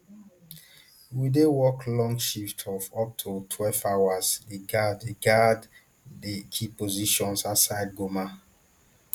we dey work long shifts of up to twelve hours dey guard key guard key positions outside goma